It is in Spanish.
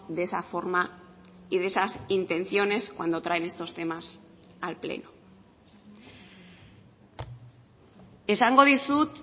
de esa forma y de esas intenciones cuando traen estos temas al pleno esango dizut